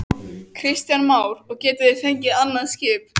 Kristján Már: Og getið þið fengið annað skip?